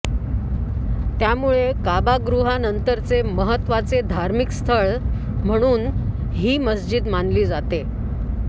त्यामुळे कअ्बागृहानंतरचे महत्त्वाचे धार्मिक स्थळ म्हणून ही मशिद मानली जाते